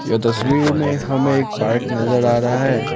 यह तस्वीर में हमें एक पार्क नजर आ रहा है।